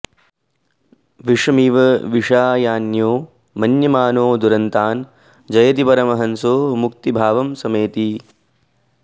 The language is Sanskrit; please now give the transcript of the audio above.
विषमिव विषयान्यो मन्यमानो दुरन्तान् जयति परमहंसो मुक्तिभावं समेति